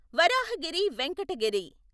Varahagiri Venkata Giri